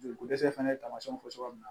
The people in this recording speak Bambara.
Joli ko dɛsɛ fana ye tamasiyɛnw fɔ cogoya min na